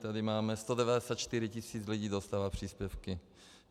Tady máme - 194 tisíc lidí dostává příspěvky.